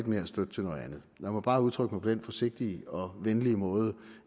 mere støtte til noget andet lad mig bare udtrykke mig på den forsigtige og venlige måde